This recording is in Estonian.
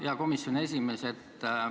Hea komisjoni esimees!